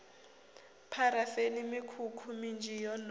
pharafeni mikhukhu minzhi yo no